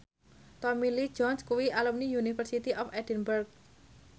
Tommy Lee Jones kuwi alumni University of Edinburgh